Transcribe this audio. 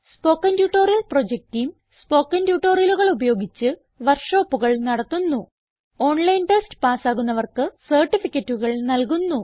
spoken tutorial project team spoken ട്യൂട്ടോറിയലുകൾ ഉപയോഗിച്ച് work ഷോപ്പുകൾ നടത്തുന്നു